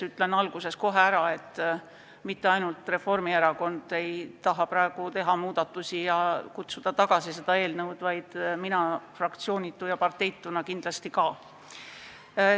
Ütlengi kohe alguses ära, et mitte ainult Reformierakond ei taha muudatusi ja seda eelnõu menetlusest tagasi kutsuda, vaid mina fraktsioonitu ja parteituna kindlasti ka.